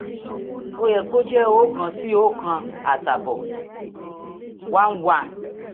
ó yẹ kó jẹ oókan sí oókan àtààbọ̀ one one